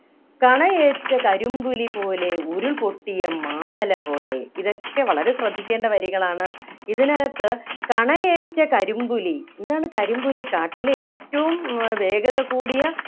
കണയേറ്റ കരിമ്പുലിപോലെ ഉരുൾപൊട്ടിയ മാമല പോലെ ഇതൊക്കെ വളരെ ശ്രദ്ധിക്കേണ്ട വരികളാണ് ഇതിനകത്ത് കണയേറ്റ കരിമ്പുലി എന്താണ് കരിമ്പുലി കാട്ടിലെ ഏറ്റവും ഏർ വേഗത കൂടിയ